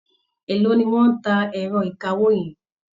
Élòó ni wọ́n ń ta ẹ̀rọ ìkawó yẹn?